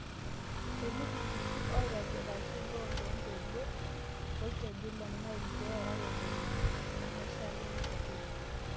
Etii ltururri oitobiraki loolontoluo lolkeju le Nile pee earare nena nemeishaakino te kodi